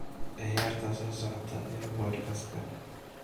ciyaarta soo socota ee podcast-ka